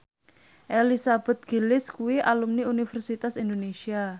Elizabeth Gillies kuwi alumni Universitas Indonesia